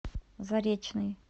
заречный